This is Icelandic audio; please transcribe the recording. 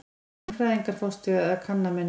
Mannfræðingar fást við kanna menningu.